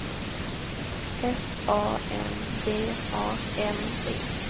S A M B A N D